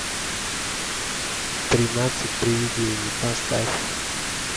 тринадцать приведений поставь